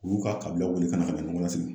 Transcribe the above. U y'u ka kabilaw wele ka na